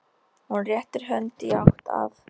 Hún réttir hönd í átt að